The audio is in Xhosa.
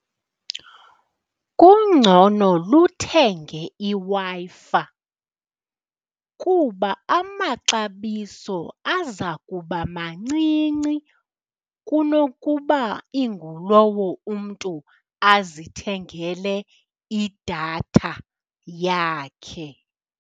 Kungcono luthenge iWi-Fi kuba amaxabiso aza kuba mancinci kunokuba ingulowo umntu azithengele idatha yakhe.